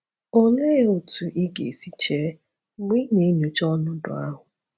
Olee otú ị ga-esi chee mgbe ị na-enyocha ọnọdụ ahụ?